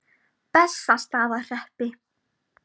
Bessastaðahreppi